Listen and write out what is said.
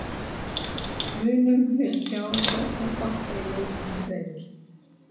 Munum við sjá sóknarbolta í leikjunum tveimur?